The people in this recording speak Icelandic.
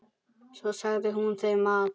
Svo sagði hún þeim að